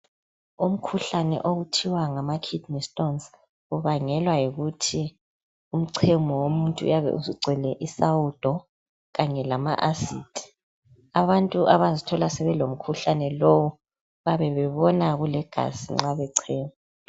Umkhuhlane okuthiwa ngama kidney stones ubangelwa yikuthi umchemo womuntu uyabe usugcwele isawudo kanye lama acid, abantu abazithola sebelomkhuhlane lowu bayabe sebona kulegazi nxa bechema.